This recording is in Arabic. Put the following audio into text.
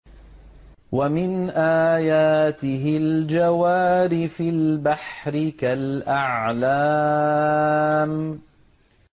وَمِنْ آيَاتِهِ الْجَوَارِ فِي الْبَحْرِ كَالْأَعْلَامِ